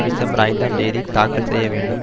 December ஐந்தாம் தேதி தாக்கல் செய்யவேண்டும்